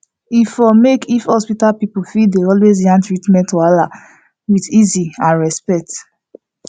e for make if hospital people fit dey always yarn treatment wahala with easy and respect